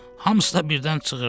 Hamısı da birdən cığırırrdı.